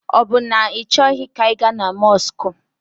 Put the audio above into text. Ọ bụ na ị chọghi ka anyị ga na mọsụkụ?